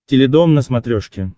теледом на смотрешке